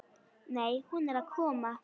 Nei, hún er að koma.